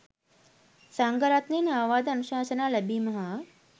සංඝරත්නයෙන් අවවාද අනුශාසනා ලැබීම හා